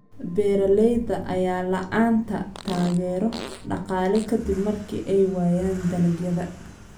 Beeralayda ayaa la'aanta taageero dhaqaale ka dib markii ay waayaan dalagyada.